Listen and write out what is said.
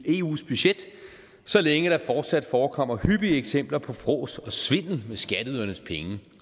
eus budget så længe der fortsat forekommer hyppige eksempler på frås og svindel med skatteydernes penge